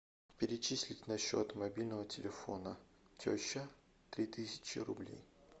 перечислить на счет мобильного телефона теща три тысячи рублей